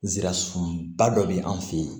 Nsira sunba dɔ bɛ an fɛ yen